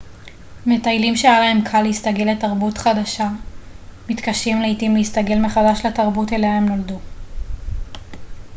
מטיילים שהיה להם קל להסתגל לתרבות החדשה מתקשים לעתים להסתגל מחדש לתרבות אליה הם נולדו